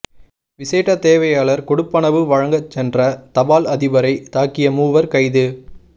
விசேட தேவையாளர் கொடுப்பனவு வழங்கச் சென்ற தபால் அதிபரை தாக்கிய மூவர் கைது